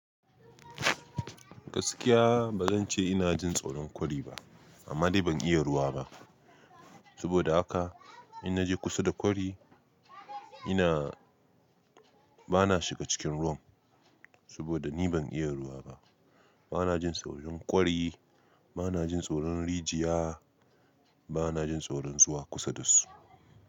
Gaskiya ba zan ce ina jin tsoron kwari ba, amma dai ban iya ruwa ba. Saboda haka in naje kusa da kwari, ina bana shiga cikin ruwan. Saboda ni ban iya ruwa ba. Bana jin tsoron kwari, bana jin tsoron rijiya, bana jin tsoron zuwa kusa da su.